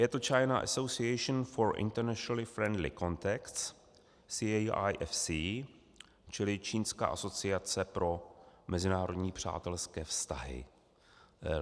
Je to China Association for International Friendly Contacts, CAIFC, čili Čínská asociace pro mezinárodní přátelské vztahy.